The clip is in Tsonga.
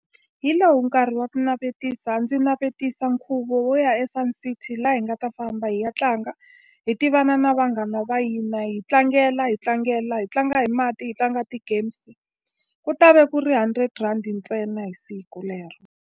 Hi lowu nkarhi wa ku navetisa. Ndzi navetisa nkhuvo wo ya eSun City laha hi nga ta famba hi ya tlanga. Hi tivana na vanghana va hina, hi tlangela, hi tlangela hi tlanga hi mati, hi tlanga ti-games. Ku ta va ku ri hundred rhandi ntsena hi siku lero.